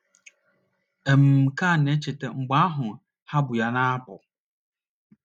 M ka na - echeta mgbe ahụ ha bu ya na - apụ.